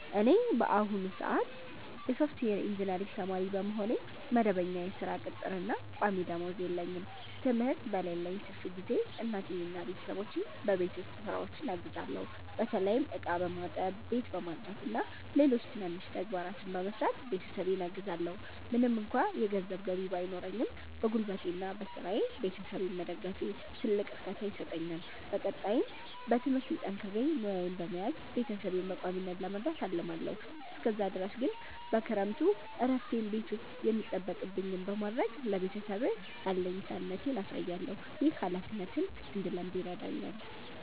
እኔ በአሁኑ ሰአት የሶፍትዌር ኢንጂነሪንግ ተማሪ በመሆኔ፣ መደበኛ የሥራ ቅጥርና ቋሚ ደመወዝ የለኝም። ትምህርት በሌለኝ ትርፍ ጊዜ እናቴንና ቤተሰቦቼን በቤት ውስጥ ሥራዎች አግዛለሁ። በተለይም ዕቃ በማጠብ፣ ቤት በማጽዳትና ሌሎች ትናንሽ ተግባራትን በመስራት ቤተሰቤን አግዛለዎ። ምንም እንኳ የገንዘብ ገቢ ባይኖረኝም፣ በጉልበቴና በሥራዬ ቤተሰቤን መደገፌ ትልቅ እርካታ ይሰጠኛል። በቀጣይም በትምህርቴ ጠንክሬ ሙያዬን በመያዝ ቤተሰቤን በቋሚነት ለመርዳት አልማለዎ። እስከዛ ድረስ ግን በክረምቱ እረፍቴ ቤት ውስጥ የሚጠበቅብኝን በማድረግ ለቤተሰቤ አለኝታነቴን አሳያለሁ። ይህ ኃላፊነትን እንድለምድ ይረዳኛል።